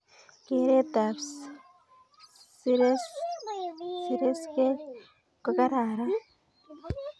Keret ab siresgek ko kararan